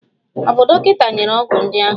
Ọ̀ bụ dọkịta nyere ọgwụ ndị ahụ?